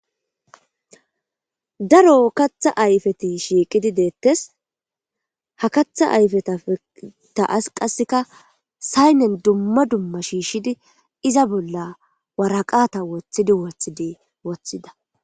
Daro katha ayfeti shiiqidi deettes ha katha ayfetata as qasseka saynen dumma dumma shiishshidi iza bolla waraqata woththidi wothidi woththida.